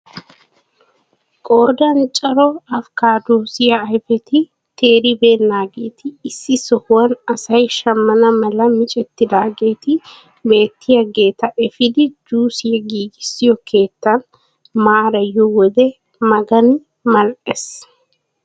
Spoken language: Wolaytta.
Qoodan cora apikaadosiyaa ayfeti teeribenaageeti issi sohuwaan asay shammana mala micettidageeti beettiyaageeta efiidi juusiyaa giigissiyo keettan maariyo wode magani mal"ees!